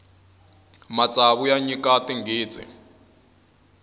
matsavu ya nyika tinghitsi